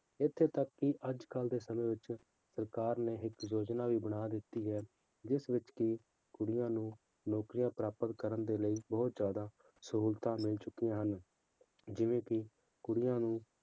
ਇੱਥੇ ਤੱਕ ਕਿ ਅੱਜ ਕੱਲ੍ਹ ਦੇ ਸਮੇਂ ਵਿੱਚ ਸਰਕਾਰ ਨੇ ਇੱਕ ਯੋਜਨਾ ਵੀ ਬਣਾ ਦਿੱਤੀ ਹੈ ਜਿਸ ਵਿੱਚ ਕਿ ਕੁੜੀਆਂ ਨੂੰ ਨੌਕਰੀਆਂ ਪ੍ਰਾਪਤ ਕਰਨ ਦੇ ਲਈ ਬਹੁਤ ਜ਼ਿਆਦਾ ਸਹੂਲਤਾਂ ਮਿਲ ਚੁੱਕੀਆਂ ਹਨ, ਜਿਵੇਂ ਕਿ ਕੁੜੀਆਂ ਨੂੰ